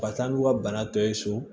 Ka taa n'u ka bana tɔ ye so